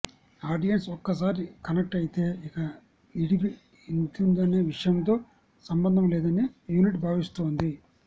audience ఒక్కసారి connect అయితే ఇక నిడివి ఎంతుందనే విషయంతో సంబంధంలేదని యూనిట్ భావిస్తోంది